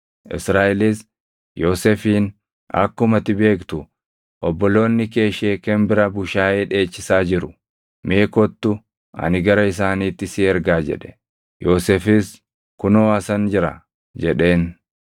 Israaʼelis Yoosefiin, “Akkuma ati beektu obboloonni kee Sheekem bira bushaayee dheechisaa jiru. Mee kottu ani gara isaaniitti si ergaa” jedhe. Yoosefis, “Kunoo asan jira” jedheen.